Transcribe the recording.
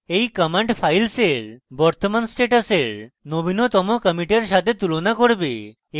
এই command files বর্তমান স্ট্যাটাসের নবীনতম কমিটের সাথে তুলনা করবে